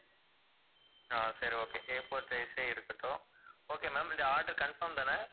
ஆஹ் சரி okay A4 size ஏ இருக்கட்டும் okay ma'am இந்த order confirm தானே